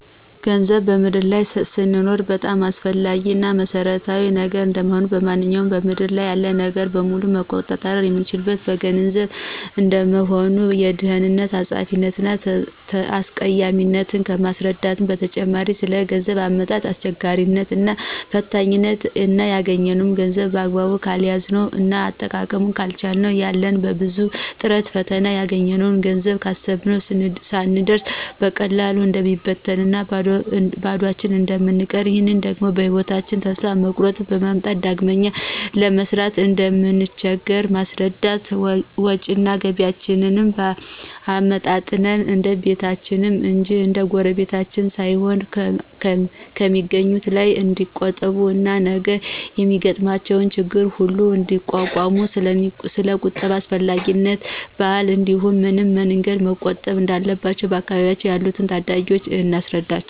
ገንዘብ በምድር ላይ ስንኖር በጣም አስፈላጊ እና መሰረታዊ ነገር እንደሆነ፣ ማንኛውንም በምድር ያለ ነገር በሙሉ መቆጣጠር የምንችለው በገንዘብ እንደሆነ፣ የድህነትን አጸያፊነት እና አስቀያሚነት ከማስረዳትም በተጨማሪ ስለገንዘብ አመጣጥ አስቸጋሪነት እና ፈታኝነት እና ያገኝነውን ገንዘብ በአግባቡ ካልያዝነው እና አጠቃቀሙን ካልቻልን ያን በብዙ ጥረትና ፈተና ያገኘነውን ገንዘብ ካሰብነው ስንደርስ በቀላሉ እንደሚበትንና ባዷችን እንደምንቀር ይህ ደግሞ በህይወታቸን ተስፋ መቁረጥን በማምጣት ዳግመኛ ለመስራትም እንደምንቸገር በማስረዳት ወጭና ገቢያቸዉን አመጣጥነው እንደቤታቸው እንጅ እንደጉረቤታቸው ሳይኖሩ ከሚአገኙት ላይ ንዲቆጥቡ እና ነገ የሚገጥሟቸው ችግሮች ሁሉ እንዲቋቋሙ ስለቁጠባ አስፈላጊነትና ባህል እንዲህም በምን መንገድ መቆጠብ እንዳለባቸው በአካባቢያችን ላሉ ታዳጊወች እናስረዳቸዋለን።